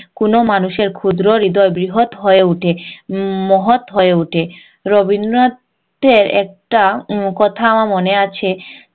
কোনো মানুষের ক্ষুদ্র হৃদয় বৃহৎ হয়ে উঠে উম মহৎ হয়ে রবীন্দ্রনাথের একটা কথা আমার মনে আছে